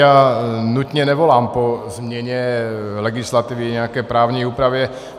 Já nutně nevolám po změně legislativy, nějaké právní úpravě.